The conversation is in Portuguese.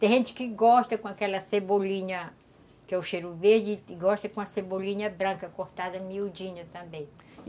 Tem gente que gosta com aquela cebolinha, que é o cheiro verde, e gosta com a cebolinha branca cortada miudinha também.